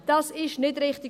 Dies ist nicht richtig.